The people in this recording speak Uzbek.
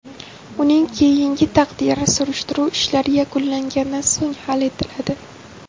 Uning keyingi taqdiri surishtiruv ishlari yakunlangandan so‘ng hal etiladi.